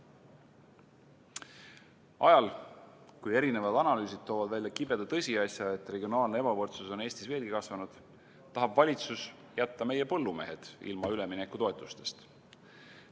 Ajal, kui erinevad analüüsid toovad välja kibeda tõsiasja, et regionaalne ebavõrdsus on Eestis veelgi kasvanud, tahab valitsus jätta meie põllumehed ilma üleminekutoetustest.